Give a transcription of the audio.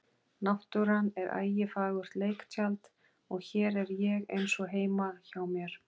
Náttúran er ægifagurt leiktjald og hér er ég einsog heima hjá mér.